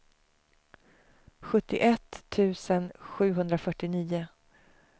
sjuttioett tusen sjuhundrafyrtionio